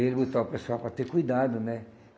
Ele botar o pessoal para ter cuidado, né?